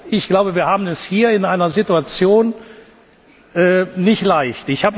Ich glaube, wir haben es hier in dieser Situation nicht leicht.